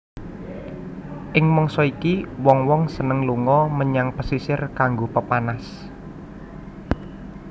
Ing mangsa iki wong wong seneng lunga menyang pesisir kanggo pepanas